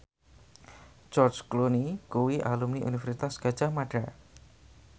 George Clooney kuwi alumni Universitas Gadjah Mada